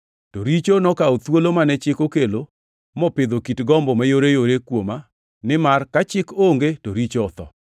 To richo nokawo thuolo mane chik okelo mopidho kit gombo mayoreyore kuoma nimar ka chik onge to richo otho.